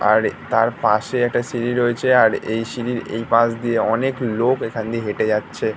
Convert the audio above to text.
আর তার পাশে একটা সিঁড়ি রয়েছেআর এই সিঁড়ির এই পাশ দিয়ে অনেক লোক এখান দিয়ে হেঁটে যাচ্ছে |